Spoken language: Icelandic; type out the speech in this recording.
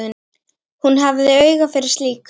Hún hafði auga fyrir slíku.